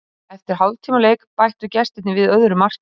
Eftir hálftíma leik bættu gestirnir við öðru marki.